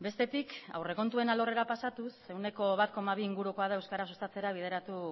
bestetik aurrekontuen alorrera pasatuz ehuneko bat koma bi ingurukoa da euskara sustatzera bideratu